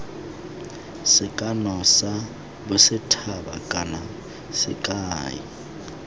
sekano sa bosethaba kana sekai